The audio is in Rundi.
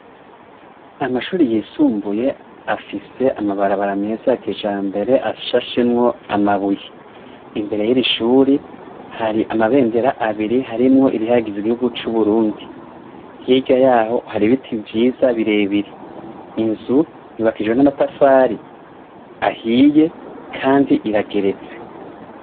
Amashuri yisumbuye, afise amabarabara meza ya kijambere, ashashemwo amabuye . Imbere yiri shuri, hari amabendera abiri harimwo irihayagiza igihugu c'Uburundi. Hirya yaho, hari ibiti vyiza birebire. Inzu yubakishijwe n'amatafari ahiye kandi irageretse.